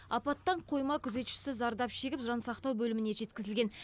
апаттан қойма күзетшісі зардап шегіп жан сақтау бөліміне жеткізілген